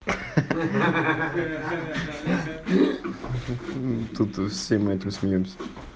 ха ха ха тут все мы это смеёмся